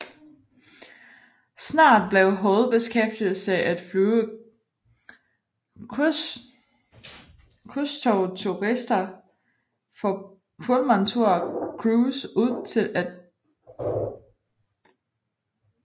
Snart blev hovedbeskæftigelse af flyve krydstogtturister for Pullmantur Cruises ud til og fra skibe i Caribien og Europa